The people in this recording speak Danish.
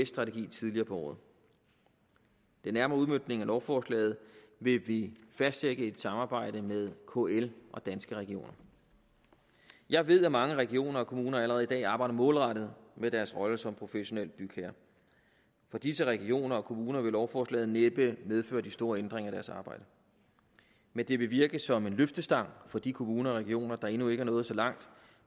strategi tidligere på året den nærmere udmøntning af lovforslaget vil blive fastsat i et samarbejde med kl og danske regioner jeg ved at mange regioner og kommuner allerede i dag arbejder målrettet med deres rolle som professionelle bygherrer for disse regioner og kommuner vil lovforslaget næppe medføre de store ændringer i deres arbejde men det vil virke som en løftestang for de kommuner og regioner der endnu ikke er nået så langt